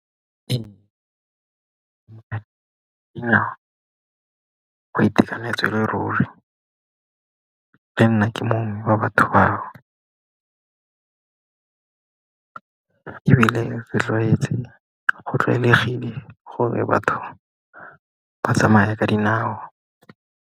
Ee, nnya go itekanetse e le ruri. Le nna ke mongwe wa batho bao, ebile go tlwaelegile gore batho ba tsamaya ka dinao.